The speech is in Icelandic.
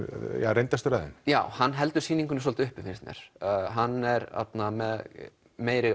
reyndastur af þeim já hann heldur sýningunni svolítið uppi fannst mér hann er með meiri